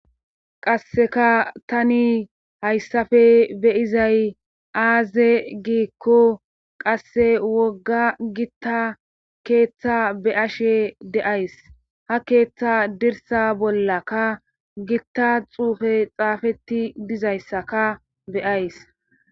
qasseka tani hayssafe be'izay aaze giikko qasse wogga gitta keeththa be'ashe de'ays ha keeththa dirsa bollakka gitta xuufey xaafetti dizayssaka be'ays